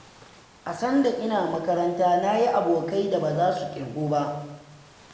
A sanda ina makaranta na yi abokai da baza su ƙirgu ba.